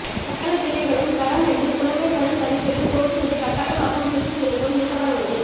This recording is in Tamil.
சகல பிள்ளைகளும் தரம் ஐந்து புலமைப்பரில் பரீட்சையில் தோற்றுவதை கட்டாயமாக்கும் சுற்றுநிரூபம் நீக்கப்படவுள்ளது